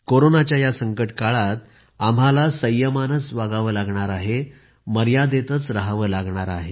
कोरोनाच्या या संकटकाळात आम्हाला संयमानंच वागावं लागणार आहे मर्यादेतच रहावं लागणार आहे